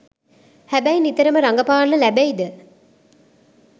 හැබැයි නිතරම රඟපාන්න ලැබෙයිද